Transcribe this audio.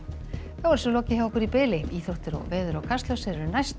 þá er þessu lokið hjá okkur í bili íþróttir veður og Kastljós eru næst